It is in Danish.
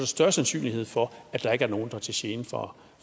større sandsynlighed for at der ikke er nogen der er til gene for